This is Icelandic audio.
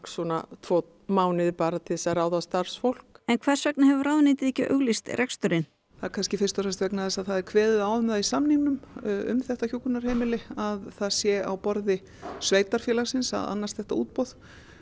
tvo mánuði bara til þess að ráða starfsfólk en hvers vegna hefur ráðuneytið ekki auglýst reksturinn það er kannski fyrst og fremst vegna þess að það er kveðið á um það í samningnum um þetta hjúkrunarheimili að það sé á borði sveitarfélagsins að annast þetta útboð